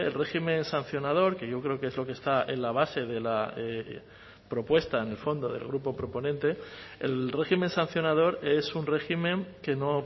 régimen sancionador que yo creo que es lo que está en la base de la propuesta en el fondo del grupo proponente el régimen sancionador es un régimen que no